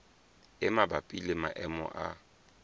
e mabapi le maemo a